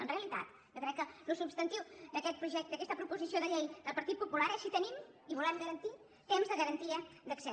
en realitat jo crec que el substantiu d’aquesta proposició de llei del partit popular és si tenim i volem garantir temps de garantia d’accés